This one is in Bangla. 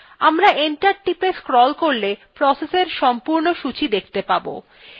আমরা enter টিপে scroll করলে pressএর সম্পূর্ণ সূচী দেখতে পারব